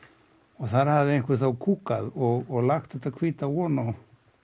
og þá hafði einhver og lagt þetta hvíta ofan á